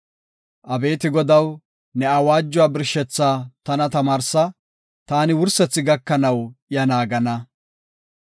Abeeti Godaw, ne awaajuwa birshethaa tana tamaarsa; taani wursethi gakanaw iya naagana.